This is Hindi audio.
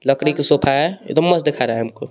लकड़ी की सोफा है एकदम मस्त दिखा रहा है हमको.